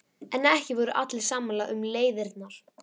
En ekki voru allir sammála um leiðirnar.